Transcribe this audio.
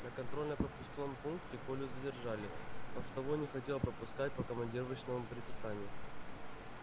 на контрольно пропускном пункте колю задержали постовой не хотел пропускать по командировочному предписанию